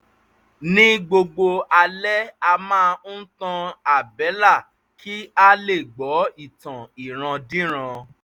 ní gbogbo alẹ́ a máa ń tan àbẹ́là kí a lè gbọ́ ìtàn ìrandíran